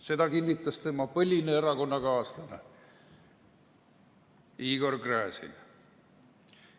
Seda kinnitas tema põline erakonnakaaslane Igor Gräzin.